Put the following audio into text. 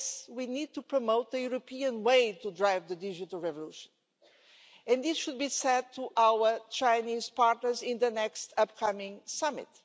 We need to promote the European way to drive the digital revolution, and this should be said to our Chinese partners in the next summit.